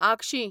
आगशीं